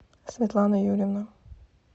светлана юрьевна